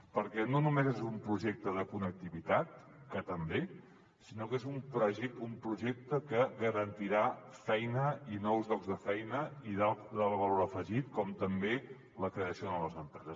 perquè no només és un projecte de connectivitat que també sinó que és un projecte que garantirà feina i nous llocs de feina i d’alt valor afegit com també la creació de noves empreses